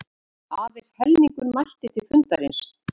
Aðeins helmingur mætti til fundarins